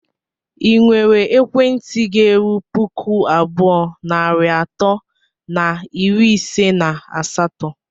ị nwere ekwentị ga-erụ pụkụ abụọ nari atọ na iri ise na asatọ?